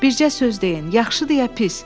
Bircə söz deyin, yaxşıdır ya pis?